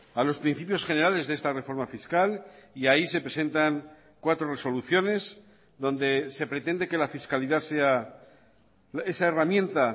a los principios generales de esta reforma fiscal y ahí se presentan cuatro resoluciones donde se pretende que la fiscalidad sea esa herramienta